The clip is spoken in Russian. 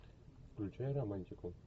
включай романтику